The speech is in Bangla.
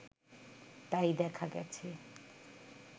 তাই দেখা গেছে